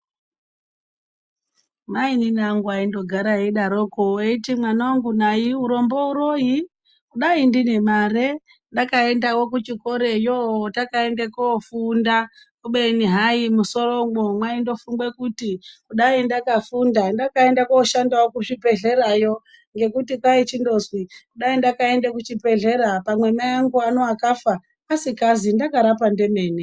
Mainini angu ayindogara eyidaroko eyiti mwana wangu nayi urombo uroyi ndayi ndine mare ndakaendawo kuchikoreyo takeyende koofunda kubeni hayi mumusoromwo mwaingofungwe kuti dai ndakafunda ndakaendawo kooshande kuzvibhedhleya yo ngekuti kwaichindozwi dai ndakaende kuchibhedhlera pamwe mai angu ano akafa asikazi ndakarapa ndemene.